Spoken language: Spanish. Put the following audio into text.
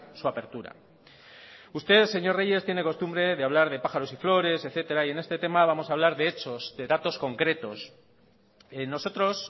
su apertura usted señor reyes tiene costumbre de hablar de pájaros y flores etcétera y en este tema vamos a hablar de hechos de datos concretos nosotros